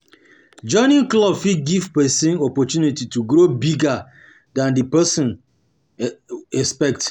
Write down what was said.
Joining clubs fit give person opportunity to grow bigger than di person person expect